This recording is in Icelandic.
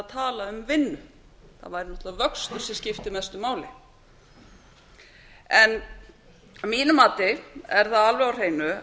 tala um vinnu að væri auðvitað vöxtur sem skipti mestu máli en að mínu mati er það alveg á hreinu